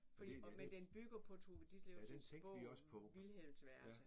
Fordi og men den bygger på Tove Ditlevsens bog Vilhelms værelse